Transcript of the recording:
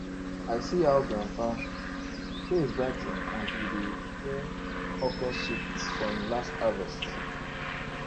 i see how grandpa im face brigh ten as we dey share okra soup from im last harvest